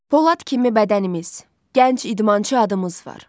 Polad kimi bədənimiz, gənc idmançı adımız var.